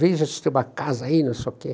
Veja se tem uma casa aí, não sei o quê.